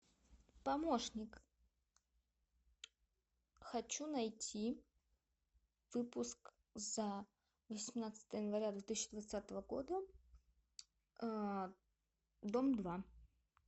помощник хочу найти выпуск за восемнадцатое января две тысячи двадцатого года дом два